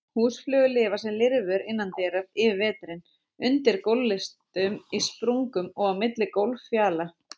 Húsflugur lifa sem lirfur innandyra yfir veturinn, undir gólflistum, í sprungum og á milli gólffjala.